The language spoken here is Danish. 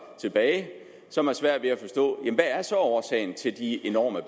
tilbage som har svært ved at forstå hvad så årsagen er til de enorme